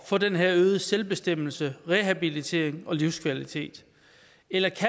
få den her øgede selvbestemmelse rehabilitering og livskvalitet eller